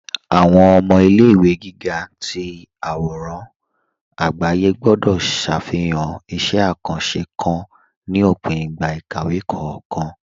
Awọn ọmọ ilẹ̀-ìwé gígà tì awòràn agbàyé gbọ̀dọ̀ ṣáfihàn ìṣẹ̀ àkàńṣé kán ní òpìn ìgbà ìkàwé kọọkan